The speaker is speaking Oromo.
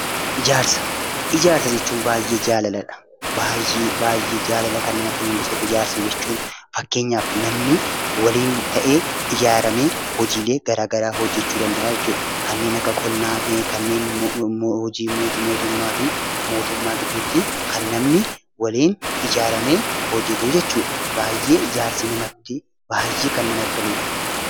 Ijaarsa jechuun baay'ee jaalaladha. Baay'ee baay'ee jaalala kan namatti mul'isudha. Fakkeenyaaf namni waliin ta'ee ijaaramee hojiilee garaagaraa hojjachuu danda'a jechuudha. Kanneen akka qonnaa, hojii mootummaa fi mootummaa gidduutti kan namni waliin ijaaramee hojjatu jechuudha. Baay'ee ijaarsi kan namatti toludha.